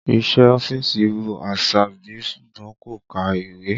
Iṣẹ́ ọ́fíìsì wù Àṣàbí ṣùgbọ́n kò ka ìwé